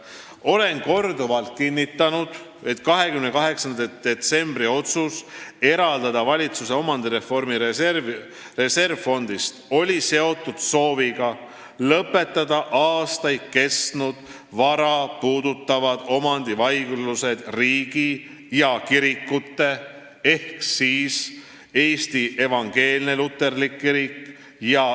Olen korduvalt kinnitanud, et 28. detsembri otsus eraldada raha valitsuse omandireformi reservfondist oli seotud sooviga lõpetada aastaid kestnud vara puudutavad omandivaidlused riigi ja kirikute vahel.